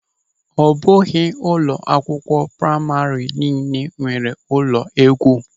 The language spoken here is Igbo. Ọ bụghị ụlọ akwụkwọ praịma niile nwere ụlọ égwú.